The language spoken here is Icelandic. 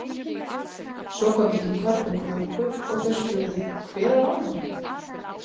Svo kom Ingvar með köku og þeir spurðu Hver á afmæli?